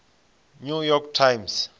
new york times